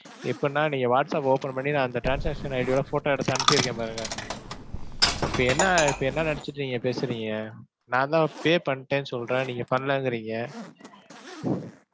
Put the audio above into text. எப்படின்னா நீங்க WhatsApp open பண்ணி நான் அந்த transaction ID ஓட photo எடுத்து அனுப்பி இருக்கேன் பாருங்க. இப்ப என்ன, இப்ப என்ன நினைச்சுட்டு நீங்கப் பேசுறீங்க. நான் தான் pay பண்ணிட்டேன்னு சொல்றேன். நீங்கப் பண்ணலைங்கறீங்க.